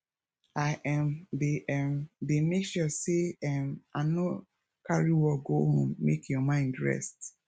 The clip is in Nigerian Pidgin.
i um dey um dey make sure sey um i no carry work go home make your mind rest